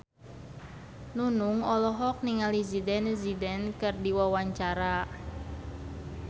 Nunung olohok ningali Zidane Zidane keur diwawancara